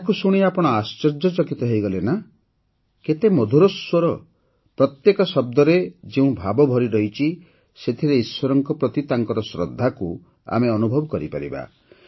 ଏହାକୁ ଶୁଣି ଆପଣ ଆଶ୍ଚର୍ଯ୍ୟଚକିତ ହୋଇଗଲେ ନା କେତେ ମଧୁର ସ୍ୱର ପ୍ରତ୍ୟେକ ଶବ୍ଦରେ ଯେଉଁ ଭାବ ଭରିରହିଛି ସେଥିରେ ଈଶ୍ୱରଙ୍କ ପ୍ରତି ତାଙ୍କର ଶ୍ରଦ୍ଧାକୁ ଆମେ ଅନୁଭବ କରିପାରିବା